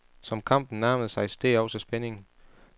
Som kampen nærmede sig steg også spændingen.